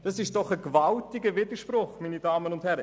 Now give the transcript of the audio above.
Das ist ein gewaltiger Widerspruch, meine Damen und Herren.